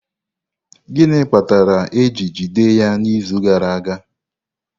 Gịnị kpatara eji jide ya n'izu gara aga?